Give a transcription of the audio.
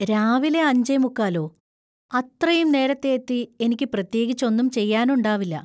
രാവിലെ അഞ്ചേ മുക്കാലോ ; അത്രയും നേരത്തെ എത്തി എനിക്ക് പ്രത്യേകിച്ചൊന്നും ചെയ്യാനുണ്ടാവില്ല.